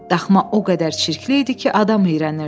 Daxma o qədər çirkli idi ki, adam iyrənirdi.